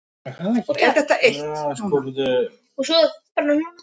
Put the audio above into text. Ég hafði náð góðum tökum á henni og fipaðist ekki hið minnsta.